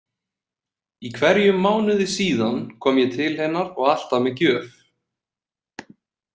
Í hverjum mánuði síðan kom ég til hennar og alltaf með gjöf.